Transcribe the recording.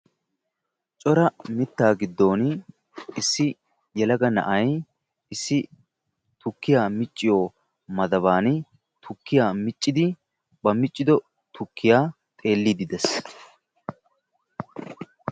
Cora mittaa giddon issi yelaga na'ay issi tukkiya micciyo maddaban tukkiyaa miccidi ba miccido tukkiya xeeliidi de'ees.